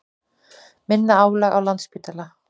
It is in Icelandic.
Minna álag á Landspítala